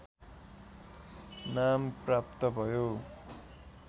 नाम प्राप्त भयो